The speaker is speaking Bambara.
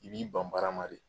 I b'i ban baara ma de.